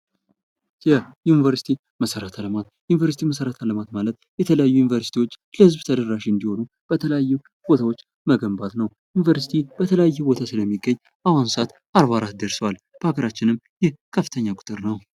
የዩኒቨርሲቲ መሰረተ ልማት ዩኒቨርስቲ መሰረተ ልማት ማለት የተለያዩ ዩኒቨርስቲዎች ለህዝብ ተደራሽ እንዲሆኑ በተለያዩ ቦታዎች መገንባት ነው ዩኒቨርስቲ በተለያየ ቦታ ስለሚገኝ በአሁኑ ሰዓት 44 ደርሷል በሀገራችንም ይህ ከፍተኛ ቁጥር ነው ::